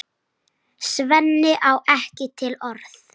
Svenni á ekki til orð.